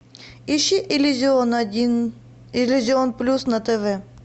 ищи иллюзион один иллюзион плюс на тв